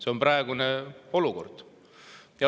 See on praegune olukord.